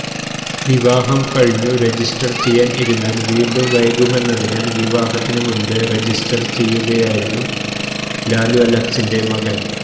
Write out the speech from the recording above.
വിവാഹം കഴിഞ്ഞു രജിസ്റ്റർ ചെയ്യാൻ ഇരുന്നാൽ വീണ്ടും വൈകുമെന്നതിനാൽ വിവാഹത്തിനു മുൻപേ രജിസ്റ്റർ ചെയ്യുകയായിരുന്നു ലാലു അലക്സിന്റെ മകൻ